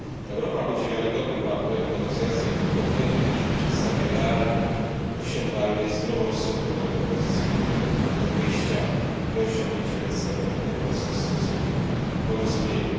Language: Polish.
Europa będzie wiarygodnym partnerem w negocjacjach tylko wtedy, jeśli przedstawi realne, osiągalne i zdroworozsądkowe propozycje, które będą punktem wyjścia do osiągnięcia międzynarodowego konsensusu i porozumienia.